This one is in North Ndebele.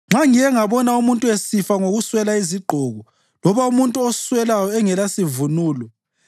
nxa ngike ngabona umuntu esifa ngokuswela izigqoko, loba umuntu oswelayo engelasivunulo,